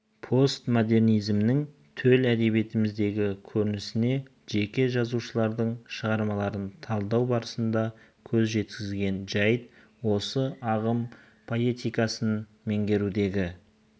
постмодернизмнің төл әдебиетіміздегі көрінісіне жеке жазушылардың шығармаларын талдау барысында көз жеткізген жәйт осы ағым поэтикасын меңгерудегі